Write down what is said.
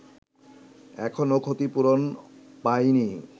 এখনো ক্ষতিপূরণ পায়নি